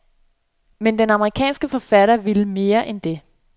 Men den amerikanske forfatter vil mere end det.